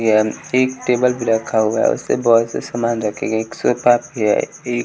एक टेबल भी रखा हुआ है उसपे बहुत से समान रखे गए है एक भी है एक--